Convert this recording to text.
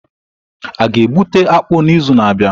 A ga-egbute akpu n'izu na-abịa?